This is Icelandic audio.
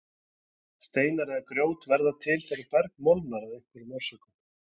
Steinar eða grjót verða til þegar berg molnar af einhverjum orsökum.